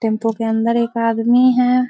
Tempo के अंदर एक आदमी है।